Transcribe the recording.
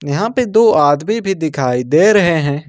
यहां पे दो आदमी भी दिखाई दे रहे है।